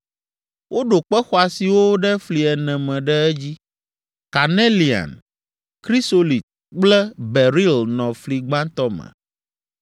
Woɖo kpe xɔasiwo ɖe fli ene me ɖe edzi. Kanelian, krisolit kple beril nɔ fli gbãtɔ me.